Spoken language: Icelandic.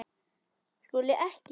SKÚLI: Ekki?